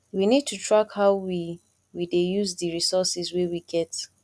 we need to track how we we dey use di resources wey we get